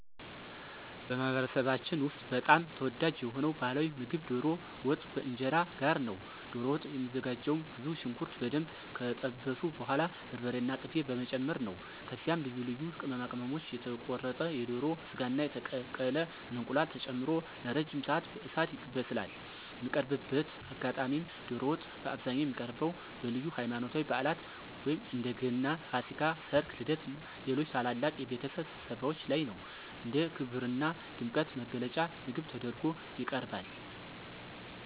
በማኅበረሰባችን ውስጥ በጣም ተወዳጅ የሆነው ባሕላዊ ምግብ ዶሮ ወጥ ከእንጀራ ጋር ነው። ዶሮ ወጥ የሚዘጋጀውም ብዙ ሽንኩርት በደንብ ከጠበሱ በኋላ በርበሬና ቅቤ በመጨመር ነው። ከዚያም ልዩ ልዩ ቅመማ ቅመሞች፣ የተቆረጠ የዶሮ ሥጋና የተቀቀለ እንቁላል ተጨምሮ ለረጅም ሰዓት በእሳት ይበስላል። የሚቀርብበት አጋጣሚም ዶሮ ወጥ በአብዛኛው የሚቀርበው በልዩ ሃይማኖታዊ በዓላት (እንደ ገናና ፋሲካ)፣ ሠርግ፣ ልደትና ሌሎች ታላላቅ የቤተሰብ ስብሰባዎች ላይ ነው። እንደ ክብርና ድምቀት መግለጫ ምግብ ተደርጎ ይቀርባል።